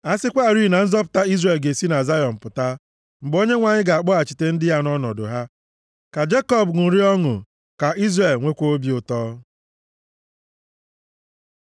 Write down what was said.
A sịkwarị na nzọpụta Izrel ga-esi na Zayọn pụta! Mgbe Onyenwe anyị ga-akpọghachite ndị ya nʼọnọdụ ha, ka Jekọb ṅụrịa ọṅụ, ka Izrel nwekwaa obi ụtọ!